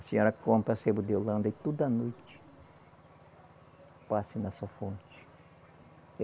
A senhora compra a sebo de holanda e toda noite passe na sua fonte.